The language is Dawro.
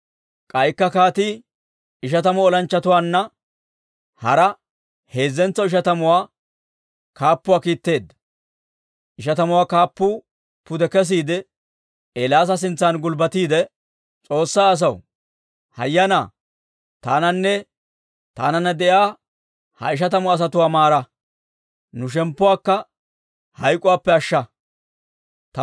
K'aykka kaatii ishatamu olanchchatuwaanna hara heezzentso ishatamuwaa kaappuwaa kiitteedda. Ishatamuwaa kaappuu pude kesiide, Eelaasa sintsan gulbbatiide, «S'oossaa asaw, hayyanaa, taananne taananna de'iyaa ha ishatamu asatuwaa maara! Nu shemppuwaakka hayk'k'uwaappe ashsha!